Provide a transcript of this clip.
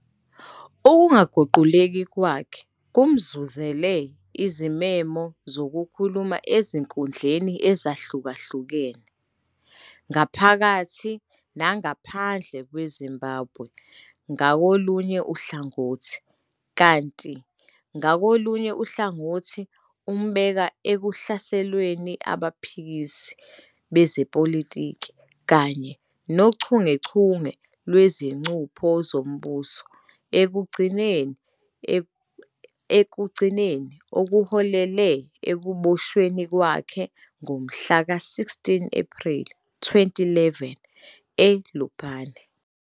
Ukungaguquguquki kwakhe kumzuzele izimemo zokukhuluma ezinkundleni ezahlukene ngaphakathi nangaphandle kweZimbabwe ngakolunye uhlangothi, kanti ngakolunye uhlangothi umbeka ekuhlaselweni abaphikisi bezepolitiki kanye nochungechunge lwezicupho zombuso ekugcineni okuholele ekuboshweni kwakhe ngomhlaka 16 Ephreli 2011 eLupane.